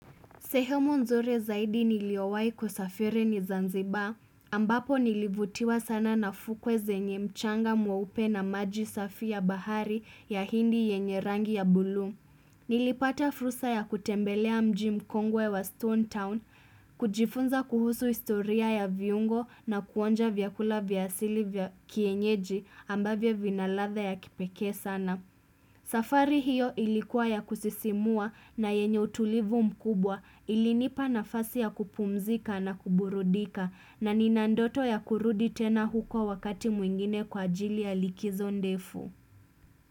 Sehemu nzuri zaidi niliowahi kusafiri ni Zanzibar, ambapo nilivutiwa sana na fukwe zenye mchanga mweupe na maji safi ya bahari ya hindi yenye rangi ya buluu. Nilipata fursa ya kutembelea mji mkongwe wa Stone Town, kujifunza kuhusu historia ya viungo na kuonja vyakula vya asili kienyeji ambavyo vina ladha ya kipekee sana. Safari hiyo ilikuwa ya kusisimua na yenye utulivu mkubwa ilinipa nafasi ya kupumzika na kuburudika na nina ndoto ya kurudi tena huko wakati mwingine kwa ajili ya likizo ndefu.